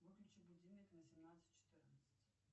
выключи будильник на семнадцать четырнадцать